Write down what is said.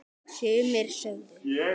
Sumir sögðu